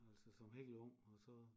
Altså som helt ung og så